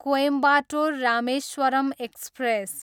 Coimbatore, Rameswaram express